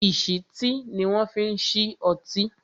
ìsítí ni wọn fi ń ṣí ọtí